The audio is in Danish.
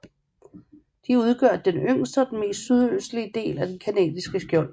De udgør den yngste og den mest sydøstlige del af det canadiske skjold